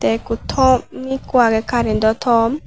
ekko tom ekko agey carento tom.